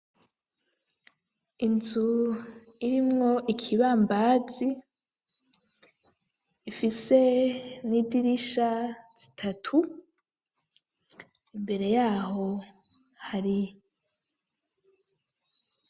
Inzu irimwo ikibambazi, ifise n'idirisha zitatu, imbere yaho hari